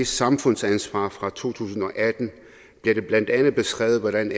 samfundsansvar fra to tusind og atten bliver det blandt andet beskrevet hvordan